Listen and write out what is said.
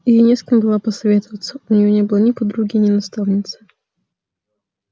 ей не с кем было посоветоваться у неё не было ни подруги ни наставницы